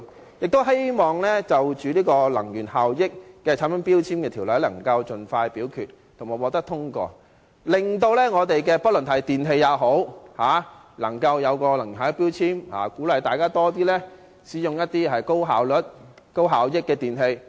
我亦希望能盡快就這項有關《能源效益條例》的決議案進行表決及通過相關修訂，令電器產品貼上能源標籤，鼓勵市民多使用高能源效益的電器。